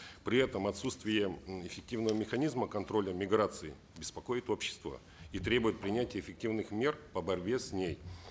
при этом отсутствие эффективного механизма контроля миграции беспокоит общество и требует принятия эффективных мер по борьбе с ней